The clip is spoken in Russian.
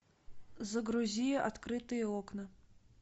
загрузи открытые окна